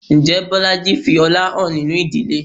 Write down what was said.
Ǹjẹ́ Bolaji fi ọlá hàn nínú ìdílé?